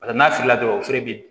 Paseke n'a filila dɔrɔn o fɛnɛ bi